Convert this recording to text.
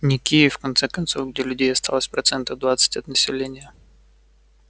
не киев в конце концов где людей осталось процентов двадцать от населения